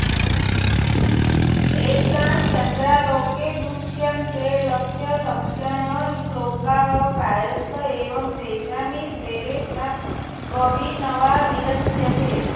येषां चन्द्रालोके दृश्यन्ते लक्ष्यलक्षणश्लोकाः प्रायस्त एव तेषामितरेषां त्वभिनवा विरच्यते